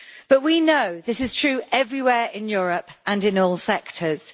But we know this is true everywhere in Europe and in all sectors.